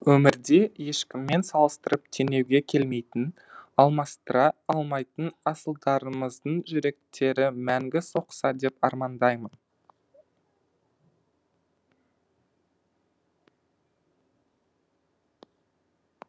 өмірде ешкіммен салыстырып теңеуге келмейтін алмастыра алмайтын асылдарымыздың жүректері мәңгі соқса деп армандаймын